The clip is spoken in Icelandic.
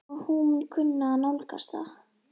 Og hún mun kunna að nálgast það.